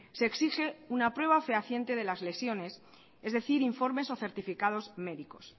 se exige una prueba fehaciente de las lesiones es decir informes o certificados médicos